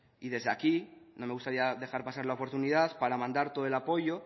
y desde aquí no me gustaría dejar pasar la oportunidad para mandar todo el apoyo